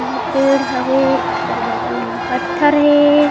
एमे पेड़ हवे ओकर बगल म पत्थर हे।